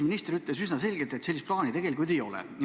Minister ütles üsna selgelt, et sellist plaani tegelikult ei ole.